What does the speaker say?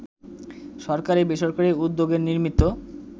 সরকারি-বেসরকারি উদ্যোগে নির্মিত